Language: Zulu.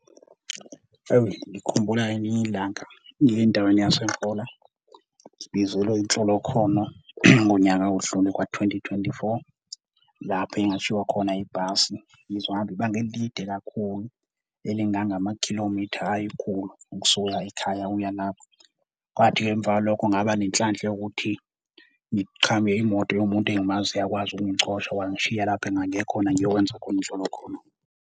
Ngikhumbula ngelinye ilanga ngiya endaweni ngizele inhlolokhono ngonyaka odlule ka-2024 lapho engashiwa khona ibhasi ngizohamba ibanga elide kakhulu, elingangamakhilomitha ayikhulu ukusuka ekhaya uya lapho. Kwathi ke emva kwaloko ngaba nenhlanhla yokuthi imoto yomuntu engimaziyo akwazi ukungicosha, wangishiya lapho engangiye khona ngiyokwenza khona inhlolokhono.